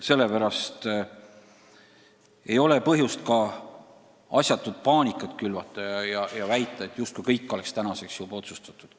Sellepärast ei ole põhjust asjatut paanikat külvata ja väita, justkui kõik oleks tänaseks juba otsustatud.